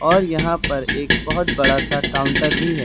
और यहां पर एक बहुत बड़ा सा काउंटर भी है।